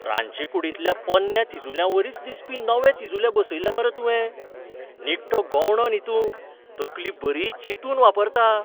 रांदचेकूडींतल्या पोरण्या तिजुल्यांवरीच दिसपी नवे तिजुले बसयले मरे तुवें. निखटो गवंडो न्ही तूं, तकली बरी चिंतून वापरता.